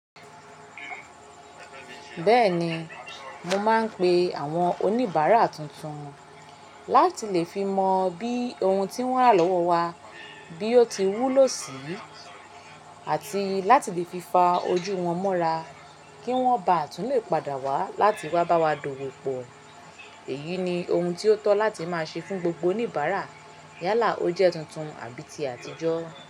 Bẹ́ẹ̀ni, mo máa ń pe àwọn oníbàárà tuntun láti lè fi mọ bí ohun tí wọ́n rà lọ́wọ́ wa bí ó ti wúlò sí, àti láti lè fi fa ojú wọn mọ́ra kí wọ́n ba à tún lè padà wá láti wá bá wa dòwò pọ̀. Èyí ni ohun tí ó tọ́ láti máa ṣe fún gbogbo oníbàárà yálà ó jẹ́ tuntun àbí ti àtijọ́.